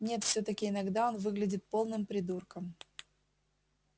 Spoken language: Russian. нет всё-таки иногда он выглядит полным придурком